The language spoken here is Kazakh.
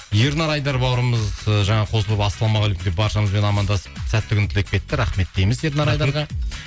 ернар айдар бауырымыз ыыы жаңа қосылып ассалаумағалейкум деп баршамызбен амандасып сәтті күн тілеп кетті рахмет дейміз ернар айдарға